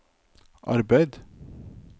arbeid